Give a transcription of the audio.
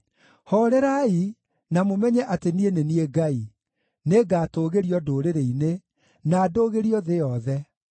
“Hoorerai, na mũmenye atĩ niĩ nĩ niĩ Ngai; nĩngatũũgĩrio ndũrĩrĩ-inĩ, na ndũũgĩrio thĩ yothe.”